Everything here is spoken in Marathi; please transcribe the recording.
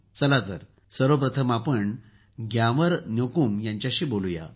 चला आपण सर्वप्रथम ग्यामर न्योकुम यांच्याशी बोलूया